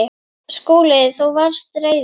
SKÚLI: Þú varst reiður.